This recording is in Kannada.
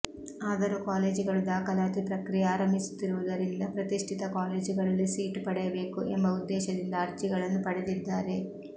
ಆದರೂ ಕಾಲೇಜುಗಳು ದಾಖಲಾತಿ ಪ್ರಕ್ರಿಯೆ ಆರಂಭಿಸುತ್ತಿರುವುದರಿಂದ ಪ್ರತಿಷ್ಠಿತ ಕಾಲೇಜುಗಳಲ್ಲಿ ಸೀಟು ಪಡೆಯಬೇಕು ಎಂಬ ಉದ್ದೇಶದಿಂದ ಅರ್ಜಿಗಳನ್ನು ಪಡೆದಿದ್ದಾರೆ